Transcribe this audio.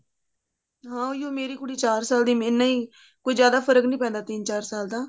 ਹਾਂ ਉਹੀ ਓ ਮੇਰੀ ਕੁੜੀ ਚਾਰ ਸਾਲ ਦੀ ਇੰਨਾ ਈ ਕੋਈ ਜਿਆਦਾ ਫਰਕ ਨੀ ਪੈਂਦਾ ਤਿੰਨ ਚਾਰ ਸਾਲ ਦਾ